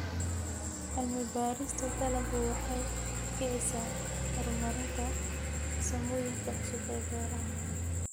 Cilmi-baarista dalaggu waxay kicisaa horumarinta farsamooyinka cusub ee beeraha.